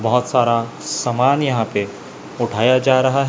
बहोत सारा सामान यहां पे उठाया जा रहा--